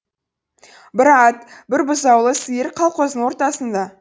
бір ат бір бұзаулы сиыр қалқоздың ортасында